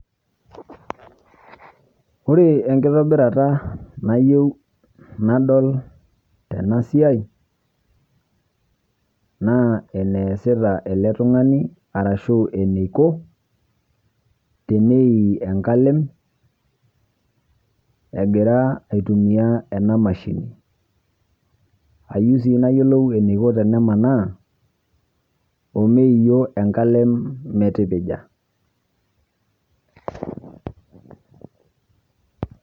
Ore enkitobirata naiyeu nadol tena siai naa eneasita ele ltung'ani arashu eneikoo teneii enkaleem egiraa aitumia ena mashini. Aiyeu sii naiyeloo eneikoo tenenang'aa teneiuo enkaleem metikija.